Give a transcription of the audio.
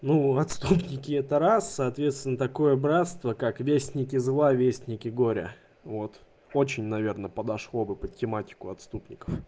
ну отступники это раз соответственно такое братство как вестники зла вестники горя вот очень наверное подошло бы под тематику отступников